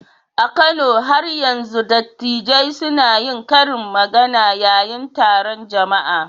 A Kano, har yanzu dattijai suna yin karin magana yayin taron jama'a